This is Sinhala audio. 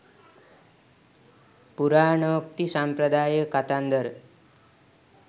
පුරාණෝක්ති සාම්ප්‍රදායික කතන්දර